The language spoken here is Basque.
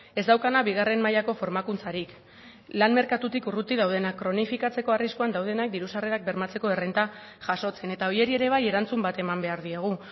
ez daukana bigarren mailako formakuntzarik lan merkatutik urruti daudenak kronifikatzeko arriskuan daudenak diru sarrerak bermatzeko errenta jasotzen eta horiei ere bai erantzun bat eman behar diegu